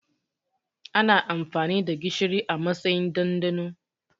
Ana amfani da gishiri a matsayin ɗanɗano